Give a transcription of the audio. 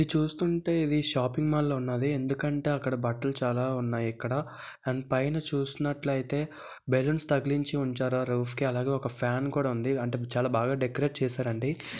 ఇది చూస్తుంటే ఇది షాపింగ్ మాల్ లాగా ఉన్నది ఎందుకంటే అక్కడ బట్టలు చాలా ఉన్నాయి ఇక్కడ అండ్ పైన చుసినట్లితే బెలూన్స్ తగిలించి ఉంచారు ఆ రఫ్ కి అలాగే ఒక ఫ్యాన్ కూడా ఉంది అంటే చాలా బాగా డెకరేట్ చేసారండి.